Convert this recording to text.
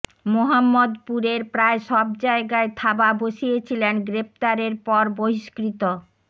মোহাম্মদপুরের প্রায় সব জায়গায় থাবা বসিয়েছিলেন গ্রেপ্তারের পর বহিস্কৃত